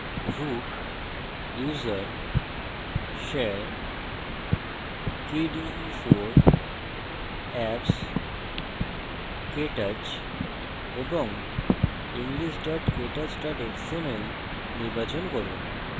root> usr> share> kde4> apps> ktouch এবং english ktouch xml নির্বাচন করুন